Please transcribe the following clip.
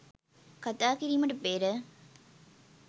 කථා කිරීමට පෙර